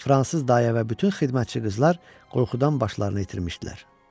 Fransız dayə və bütün xidmətçi qızlar qorxudan başlarını itirmişdilər.